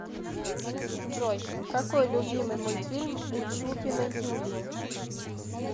джой какой любимый мультфильм у чупиной юлии